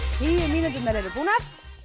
tíu mínúturnar eru búnar